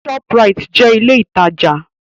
Shoprite jẹ́ ilé ìtajà.